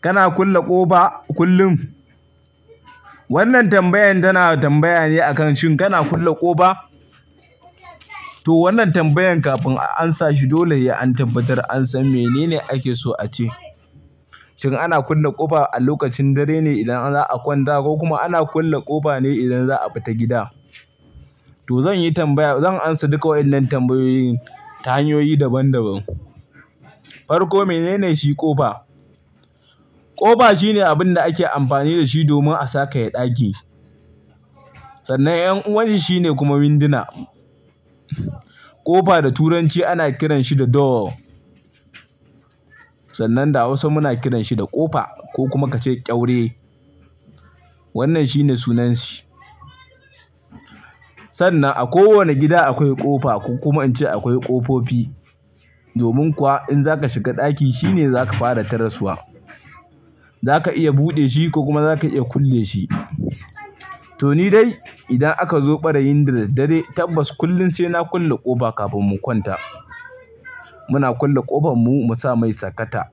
Kana kulle ƙofa kullum? Wannan tambayan tana tambaya ne akan shin kana kulle ƙofa? To wannan tambayan kafin a an sa shi dole sai an tabbatar an san menene ake so a ce. Shin ana kulle ƙofa a lokacin dare ne idan za'a kwanta, ko kuma ana kulle ƙofa ne idan za'a fita gida? To zan yi tambaya, zan amsa duka waɗannan tambayoyin ta hanyoyi daban daban. Farko menene shi ƙofa? Ƙofa shine abin da ake amfani da shi domin a sakaya ɗaki. Sannan ƴan uwanshi shine kuma winduna. Ƙofa da Turanci ana kiranshi da "door." Sannan da Hausa muna kiranshi da ƙofa ko kuma ka ce ƙyaure. Wannan shine sunanshi. Sannan a kowane gida akwai ƙofa ko kuma inci akwai ƙofofi. Domin kuwa, in za ka shiga ɗaki shine za ka fara taraswa. Za ka iya buɗe shi, ko kuma za ka iya kulle shi. To ni dai idan aka zo ɓarayin da daddare, tabbas kullum sai na kulle ƙofa kafin mu kwanta. Muna kulle ƙofanmu, mu sa mai sakata.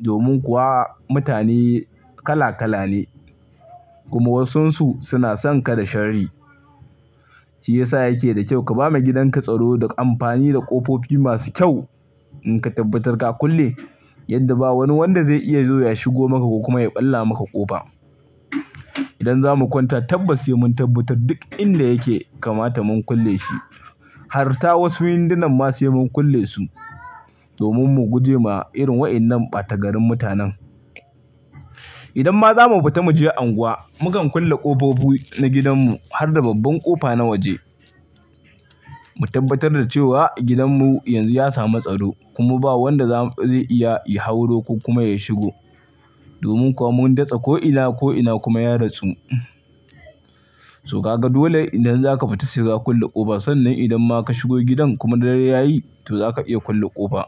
Domin kuwa mutane kala-kala ne. Kuma wasun su suna son ka da sharri. Shiyasa yake da kyau ka ba ma gidanka tsaro da amfani da ƙofofi masu kyau. In ka tabbatar ka kulle, yadda ba wani wanda zai iya zo ya shigo maka ko kuma ya ɓalla maka ƙofa. Idan za mu kwanta tabbas sai mun tabbatar duk in da yake kamata mun kulle shi. Har ta wasu windunan ma sai mun kulle su. Domin mu guje ma irin waƴannan ɓata garin mutanen. Idan ma za mu fita mu je anguwa, mu kan kulle ƙofofi na gidanmu, har da babban ƙofa na waje. Mu tabbatar da cewa, gidanmu yanzu ya samu tsaro, kuma ba wanda za, zai iya ya hauro ko kuma ya shigo. Domin kuwa mun datsa ko ina ko ina kuma ya datsu. To kaga dole idan za ka fita saika kulle ƙofa, sannan idan ma ka shigo gidan, kuma dare yayi to za ka iya kulle ƙofa.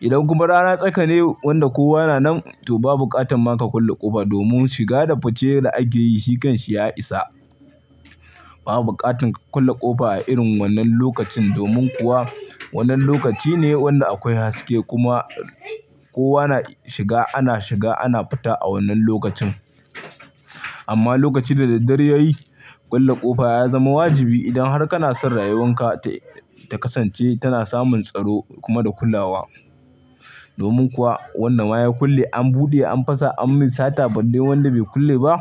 Idan kuma rana tsaka ne wanda kowa na nan, to ba buƙatan ma ka kulle ƙofa, domin shiga da fice da ake yi shi kan shi ya isa. Ba buƙatan ka kulle ƙofa a irin wannan lokacin, domin kuwa wannan lokaci ne wanda akwai haske, kuma kowa na shiga, ana shiga ana fita a wannan lokacin. Amma lokacin da daddare yayi, kulle ƙofa ya zama wajibi, idan har kana son rayuwan ka ta kasance tana samun tsaro kuma da kulawa. Domin kuwa wanda ma ya kulle an buɗe an fasa an mai sata, balle wanda bai kulle ba.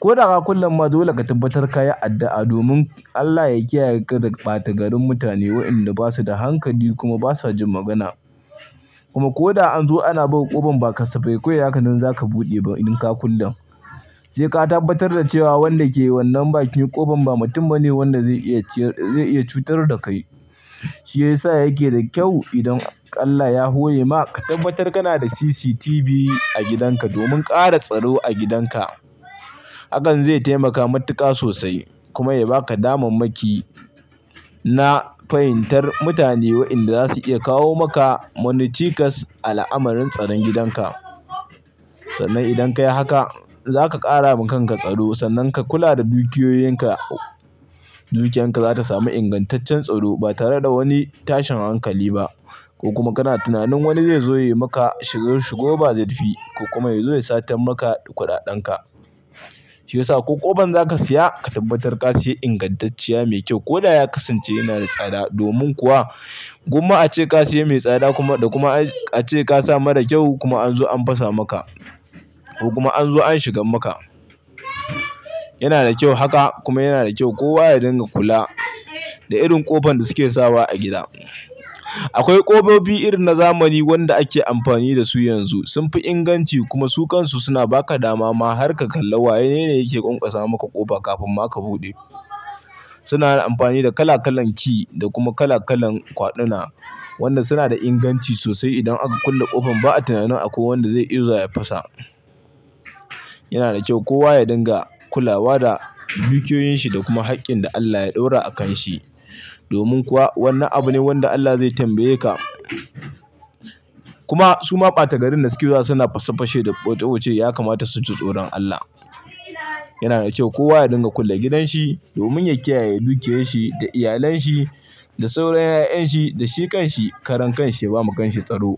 Ko da ka kulle ma dole ka tabbatar ka yi addu'a domin Allah ya kiyaye ka daga ɓata garin mutane, waƴanda basu da hankali kuma basa jin magana. Kuma ko da an zo ana buga ƙofan, ba kasafai kawai haka nan za ka buɗe ba idan ka kullen. Sai ka tabbatar da cewa wanda ke wannan bakin ƙofan ba mutum bane wanda zai iya cutar da kai. Shiyasa yake da kyau idan Allah ya hore ma, ka tabbatar kana da CCTV a gidanka, domin ƙara tsaro a gidanka. Hakan zai taimaka matuƙa sosai kuma ya ba ka damammaki na, fahimtar mutane waƴanda za su iya kawo maka, wani cikas a al'amarin tsaron gidanka. Sannan idan ka yi haka, za ka ƙara ma kanka tsaro, sannan ka kula da dukiyoyinka, dukiyan ka za ta samu ingantaccen tsaro, ba tare da wani tashin hankali ba. Ko kuma kana tunanin wani zai zo ya yi maka shigo-shigo ba zurfi, ko kuma ya zo ya satan maka kuɗaɗen ka. Shiyasa ko ƙofan za ka siya, ka tabbatar ka siya ingantacciya mai kyau, ko da ya kasance yana da tsada, domin kuwa gumma ace ka siya mai tsada, kuma kuma, ace ka sa mara kyau kuma an zo an fasa maka. Kuma an zo an shigan maka. Yana da kyau haka kuma yana da kyau kowa ya dinga kula da irin ƙofan da suke sawa a gida. Akwai ƙofofi irin na zamani wanda ake amfani da su yanzu, sun fi inganci, kuma su kansu suna ba ka damama har ka kalla wanene yake ƙonƙosa maka ƙofa kafin ma ka buɗe. Suna amfani da kala kalan ki da kuma kala kalan kwaɗuna. Wannan suna da inganci sosai idan aka kulle ƙofan, ba'a tunanin akwai wanda zai iya zuwa ya fasa. Yana da kyau kowa ya dinga kulawa da dukiyoyin shi da kuma haƙƙin da Allah ya ɗora a kan shi. Domin kuwa wannan abu ne wanda Allah zai tambaye ka. Kuma suma ɓata garin da suke zuwa suna fasa fashe da ɓote-ɓote ya kamata su ji tsoron Allah. Yana da kyau kowa ya dinga kulle gidan shi, domin ya kiyaye dukiyoyin shi da iyalan shi da sauran ƴaƴan shi da shi kan shi karan kan shi, ya ba ma kan shi tsaro.